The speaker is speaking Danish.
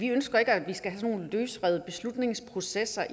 ønsker at vi skal have sådan nogle løsrevne beslutningsprocesser